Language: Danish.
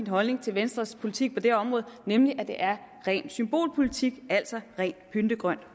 holdning til venstres politik på det område nemlig at det er ren symbolpolitik altså rent pyntegrønt